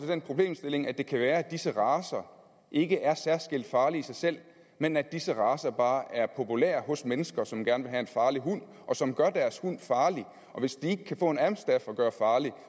den problemstilling at det kan være at disse racer ikke er særskilt farlige i sig selv men at disse racer bare er populære hos mennesker som gerne vil have en farlig hund og som gør deres hund farlig og hvis de ikke kan få en amstaff at gøre farlig